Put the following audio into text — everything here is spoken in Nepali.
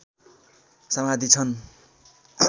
समाधि छन्